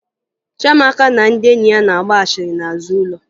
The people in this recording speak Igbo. Chiamaka na ndị enyi ya na-agba asịrị n'azụ ụlọ